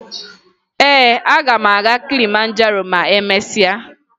Ee, aga m aga Kilimanjaro ma emesịa